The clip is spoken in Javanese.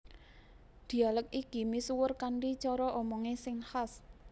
Dhialèk iki misuwur kanthi cara omongé sing khas